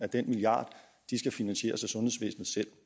den milliard skal finansieres af